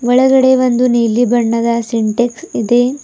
ಕೆಳಗಡೆ ಒಂದು ನೀಲಿ ಬಣ್ಣದ ಸಿಂಟ್ಯಾಕ್ಸ್ ಇದೆ.